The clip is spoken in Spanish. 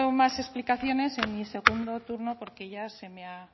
más explicaciones en mi segundo turno porque ya se me ha